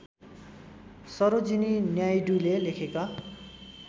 सरोजिनी नायडूले लेखेका